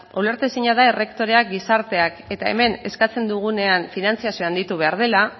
ulertezina da errektoreak gizarteak eta hemen eskatzen dugunean finantzazioa handitu egin behar dela